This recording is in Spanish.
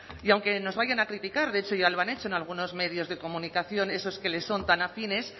y aunque nos vayan a criticar de hecho ya lo han hecho en algunos medios de comunicación esos que les son tan afines